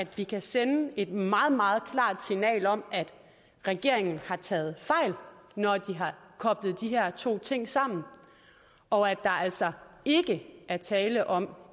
vi kan sende et meget meget klart signal om at regeringen har taget fejl når de har koblet de her to ting sammen og at der altså ikke er tale om